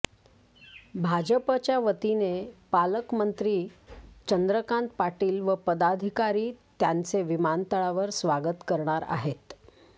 भाजपच्या वतीने पालकमंत्री चंद्रकांत पाटील व पदाधिकारी त्यांचे विमानतळावर स्वागत करणार आहेत